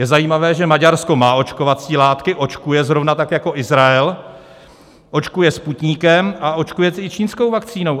Je zajímavé, že Maďarsko má očkovací látky, očkuje, zrovna tak jako Izrael, očkuje Sputnikem a očkuje i čínskou vakcínou.